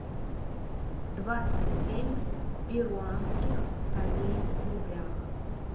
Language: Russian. двадцать семь перуанских солей в рублях